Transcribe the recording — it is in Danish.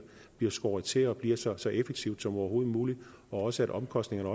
skåret til og bliver så så effektivt som overhovedet muligt og også at omkostningerne